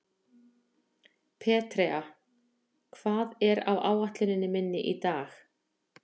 Petrea, hvað er á áætluninni minni í dag?